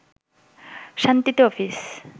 শান্তিতে অফিস